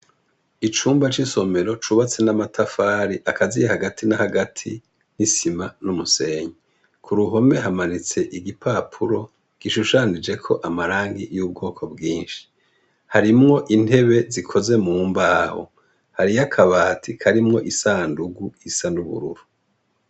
Icumba c’isomero cubatse n’amatafari akaziye hagati na hagati y’isima n’umusenyi, kuruhome hamanitse igipapuro gishushanijeko amarangi y’ubwoko bwinshi, harimwo intebe zikozwe mumbaho, hariyo akabati karimwo isandugu isa n’ubururu.